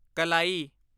ਕਲਾਈ